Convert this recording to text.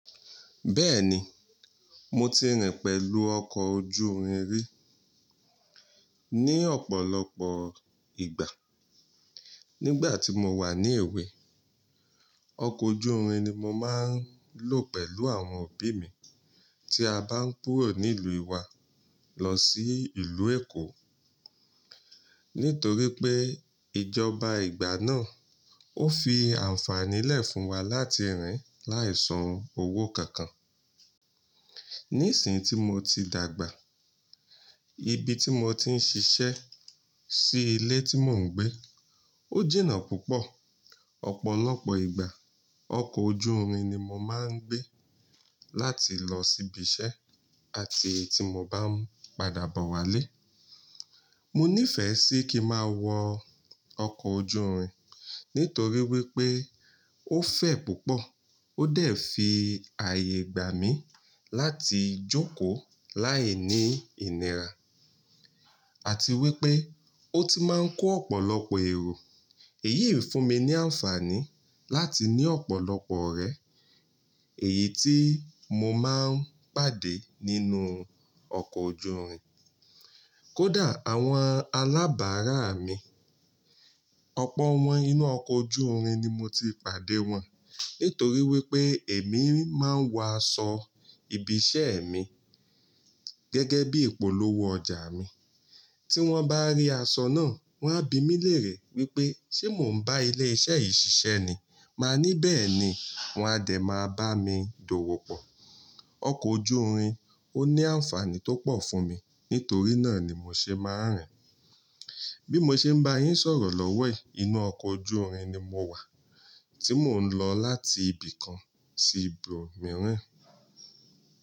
Bẹ́ẹ̀ni, mo ti rìn pẹ̀lú ọkọ̀ ojú irin ri, ní ọ̀pọ̀lọpọ̀ ìgbà. Nígbà tí mo wà ní èwe, ọkọ̀ ojú irin ni mo máa ń lò pẹ̀lú àwọn òbí mi tí a bá ń kúrò nílùú ìwà lọ sí ìlú Èkó. Nítorí pé ìjọba ìgbà náà ó fi ànfànílẹ̀ fún wa láti rìn láìsan owó kankan. Nísìn tí mo ti dàgbà, ibi tí mo ti ń ṣiṣẹ́ sí ilé tí mò ń gbé ó jìnà púpọ̀. Ọ̀pọ̀lọpọ̀ ìgbà ọkọ̀ ojú irin ni mo máa ń gbé láti lọ síbi iṣẹ́ àti tí mo bá ń padà bọ̀ wá lé. Mo nífẹ̀ẹ́ sí kí n ma wọ ọkọ̀ ojú irin nítorí wípé ó fẹ̀ púpọ̀, ó dẹ̀ fi ààyè gbà mí láti jókòó láìní ìnira àti wípé ó ti máa ń kó ọ̀pọ̀lọpọ̀ èrò. Èyí ń fún mi ní ànfàní láti ní ọ̀pọ̀lọpọ̀ ọ̀rẹ́ èyí tí mo máa ń pàdé nínú ọkọ̀ ojú irin. Kódà àwọn alábàárà mi, ọ̀pọ̀ wọn inú ọkọ̀ ojú irin ni mo ti pàdé wọn. Nítorí wípé èmi máa ń wọ asọ ibi iṣẹ́ mi gẹ́gẹ́ bí ìpolówó ọjà mi. Tí wọ́n bá rí asọ náà, wọ́n á bi mí lérè wípé ṣé mò ń bá ilé iṣẹ́ yìí ṣiṣẹ́ ni? Máa ní bẹ́ẹ̀ ni, wọn a dẹ̀ máa bá mi dòwò pọ̀. Ọkọ̀ ojú irin ó ní ànfàní tó pọ̀ fún mi, nítorí náà ni mo ṣe máa ń rìn. Bí mo ṣe ń bá yín sọ̀rọ̀ lówó è, inú ọkọ̀ ojú irin ni mo wà tí mò ń lọ láti ibìkan sí ibòmíràn.